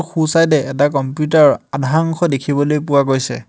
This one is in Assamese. সোঁচাইদে এটা কম্পিউটাৰ ৰ আধা অংশ দেখিবলৈ পোৱা গৈছে।